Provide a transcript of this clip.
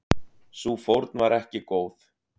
Sú fórn var ekki góð.